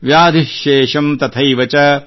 ವ್ಯಾಧಿಃ ಶೇಷಮ್ ತಥೈವಚ